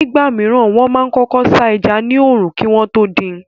Nígbà mìíràn, wọ́n máa kọ́kọ́ sá ẹja ní òòrùn kí wọ́n tó dín in.